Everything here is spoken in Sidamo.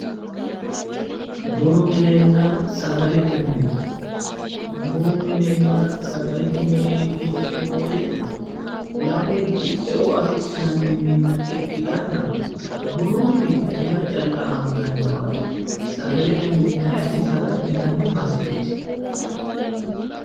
Bunu minenna sagalete mine, bunu minenna sagalete mineeti yineemmo woyte lamunku eo afi'nanni minna ikkitanna bunu mini buna calla anganniwaati, sagalte mini kayiinni saga'linanni baseeti.